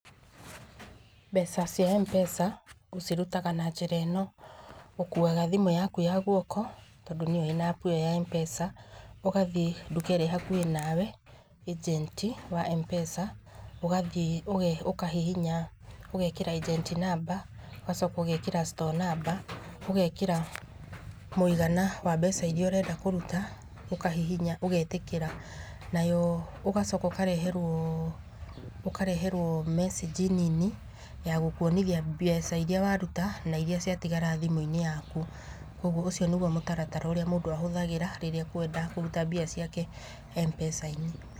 Mbeca cia MPESA ũcirutaga na njĩra ĩno. Ũkuaga thimũ yaku ya guoko, tondũ nĩyo ĩna appu iyo ya MPESA, ũgathiĩ nduka ĩrĩa ĩ hakuhĩ nawe, ĩgenti wa MPESA, ũgathiĩ ũkahihinya ũgekĩra agent number, ũgacoka ũgekĩra store number, ũgekĩra mũigana wa mbeca iria ũrenda kũruta ũkahihinya ũgetĩkĩra. Nayo ũgacoka ũkareherwo mecĩnji nini ya gũkuonia mbeca iria waruta na iria ciatigara thimũ-inĩ yaku. Kwoguo ũcio nĩguo mũtaratara ũrĩa mũndũ ahũthagĩra rĩrĩa akwenda kũruta mbeca ciake MPESA-inĩ.